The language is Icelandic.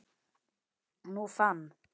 Nú fann